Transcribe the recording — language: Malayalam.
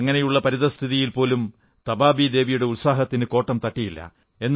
അങ്ങനെയുള്ള പരിതഃസ്ഥിതിയിൽ പോലും തബാബീ ദേവിയുടെ ഉത്സാഹത്തിന് കോട്ടം തട്ടിയില്ല